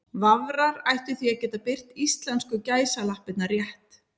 Vafrar ættu því að geta birt íslensku gæsalappirnar rétt.